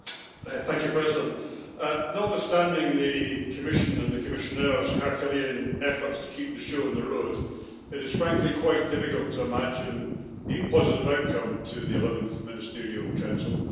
Mr President, notwithstanding the Commission's and the Commissioners' Herculean efforts to keep the show on the road, it is, frankly, quite difficult to imagine a positive outcome to the 11th Ministerial Council.